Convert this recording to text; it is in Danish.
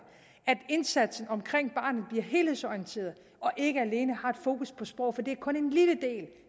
at indsatsen omkring barnet bliver helhedsorienteret og ikke alene har et fokus på sprog for det er kun en lille del